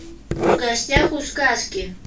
в гостях у сказки